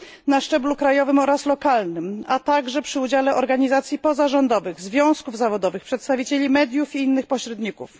na szczeblu krajowym oraz lokalnym, a także przy udziale organizacji pozarządowych, związków zawodowych, przedstawicieli mediów i innych pośredników.